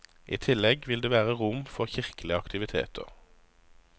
I tillegg vil det være rom for kirkelige aktiviteter.